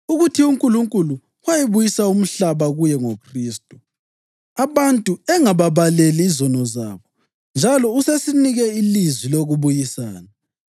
ukuthi uNkulunkulu wayebuyisa umhlaba kuye ngoKhristu, abantu engababaleli izono zabo. Njalo usesinike ilizwi lokubuyisana.